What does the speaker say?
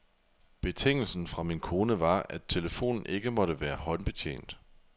Betingelsen fra min kone var, at telefonen ikke måtte være håndbetjent.